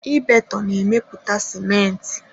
Ibeto na-emepụta sịmentị.